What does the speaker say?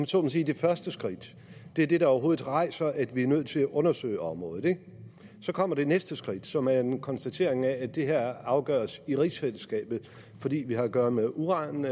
så må sige det første skridt det er det der overhovedet rejser at vi er nødt til at undersøge området så kommer det næste skridt som er en konstatering af at det her afgøres i rigsfællesskabet fordi vi har at gøre med uran